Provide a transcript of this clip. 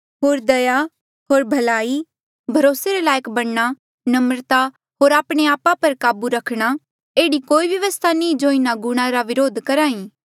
होर दया भलाई भरोसे रे लायक बणना नम्रता होर आपणे आपा पर काबू रखणा एह्ड़ी कोई व्यवस्था नी जो इन्हा गुणा रा व्रोध करही